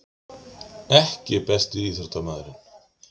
EKKI besti íþróttamaðurinn?